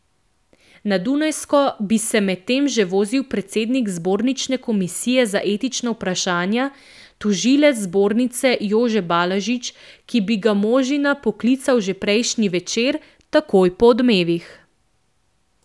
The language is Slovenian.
Na Dunajsko bi se medtem že vozil predsednik zbornične komisije za etična vprašanja, tožilec zbornice Jože Balažič, ki bi ga Možina poklical že prejšnji večer, takoj po Odmevih.